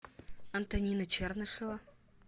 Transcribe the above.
антонина чернышева